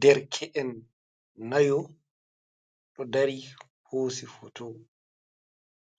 Derke'en nayo ɗo dari hoosi foto,